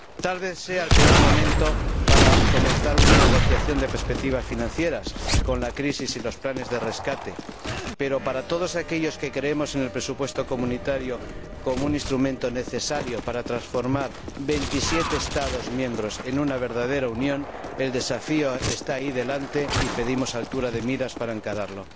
Tal vez sea el peor momento para comenzar una negociación de perspectivas financieras, con la crisis y los planes de rescate, pero para todos aquellos que creemos en el presupuesto comunitario como un instrumento necesario para transformar veintisiete Estados miembros en una verdadera Unión, el desafío está ahí delante, y pedimos altura de miras para encararlo.